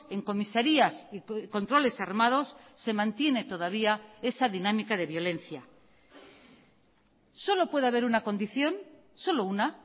en comisarías y controles armados se mantiene todavía esa dinámica de violencia solo puede haber una condición solo una